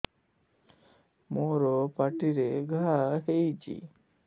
ମୋର ପାଟିରେ ଘା ହେଇଚି